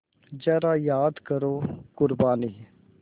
ज़रा याद करो क़ुरबानी